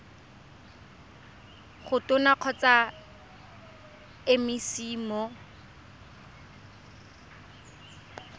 go tona kgotsa mec mo